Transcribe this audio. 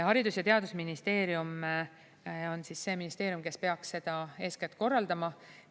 Haridus- ja Teadusministeerium on see ministeerium, kes eeskätt peaks seda korraldama.